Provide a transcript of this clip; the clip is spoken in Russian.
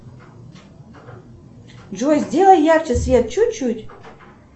джой сделай ярче свет чуть чуть